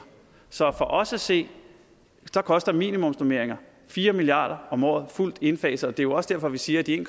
så for os at se koster minimumsnormeringer fire milliard om året fuldt indfaset og det er jo også derfor vi siger at de en